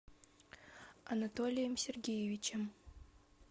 анатолием сергеевичем